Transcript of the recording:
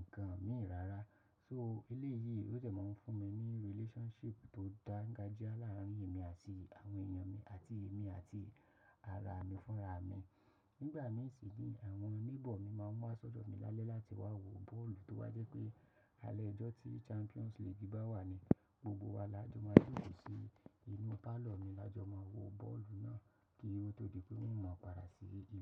ǹkan mìí rárá. So elé yìí ó dẹ̀ man fún mi ní relationship tó dáńgájíá láàárín èmi àti àwọn èèyàn mi àti èmi àti ara mi fúnra mi. Nígbà mí sì ni àwọn neighbour mi máa ń wá ṣọ̀dọ̀ mi lálẹ́ láti wá wo bọ́ọ̀lù tó bá jẹ́ pé alẹ́ ojọ́ tí Champions League bá wà ni gbogbo wa lajọ̀ máa jókòó sí inú pálọ̀ mi, lajọ̀ máa wo bọ́ọ̀lù náà kí ọ tó di pé wọn ma padà lo sí ile.